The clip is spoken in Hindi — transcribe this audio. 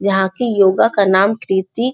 यहाँ की योगा का नाम कृति --